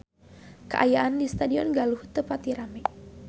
Kaayaan di Stadion Galuh teu pati rame